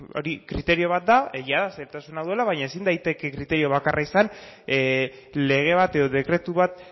hori kriterio bat da egia da zailtasuna duela baina ezin daiteke kriterio bakarra izan lege bat edo dekretu bat